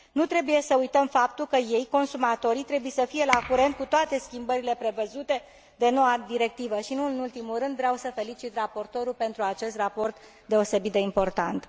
Nu trebuie să uităm faptul că ei, consumatorii, trebuie să fie la curent cu toate schimbările prevăzute de noua directivă și, nu în ultimul rând, vreau să felicit raportorul pentru acest raport deosebit de important.